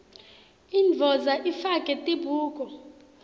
indvodza ifake tibuko